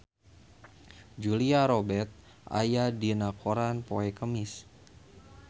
Julia Robert aya dina koran poe Kemis